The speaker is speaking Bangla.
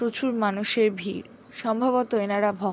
প্রচুর মানুষের ভিড়। সম্বভত এনারা ভক--